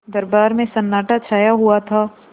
दरबार में सन्नाटा छाया हुआ था